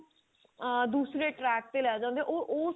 ਆਂ ਦੂਸਰੇ track ਤੇ ਲੈ ਜਾਂਦੇ ਆਂ ਉਹ ਉਸ